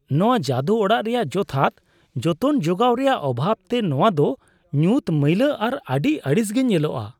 ᱱᱚᱶᱟ ᱡᱟᱹᱫᱩ ᱚᱲᱟᱜ ᱨᱮᱭᱟᱜ ᱡᱚᱛᱷᱟᱛ ᱡᱚᱛᱚᱱ ᱡᱚᱜᱟᱣ ᱨᱮᱭᱟᱜ ᱚᱵᱷᱟᱵᱽᱛᱮ ᱱᱚᱣᱟ ᱫᱚ ᱧᱩᱛ, ᱢᱟᱹᱭᱞᱟᱹ, ᱟᱨ ᱟᱹᱰᱤ ᱟᱹᱲᱤᱥᱜᱮ ᱧᱮᱞᱚᱜᱼᱟ ᱾